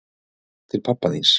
Til pabba þíns.